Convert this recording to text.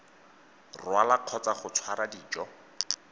rwala kgotsa go tshwara dijo